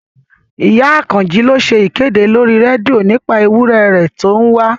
Ìyá Àkànjí ló ṣe ìkéde lórí rédíò nípa ewúrẹ̀ rẹ̀ tó ń wá